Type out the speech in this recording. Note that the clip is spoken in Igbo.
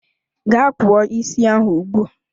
Ga kpụọ isi ahụ ugbua!